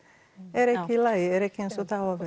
er ekki í lagi er ekki eins og það á að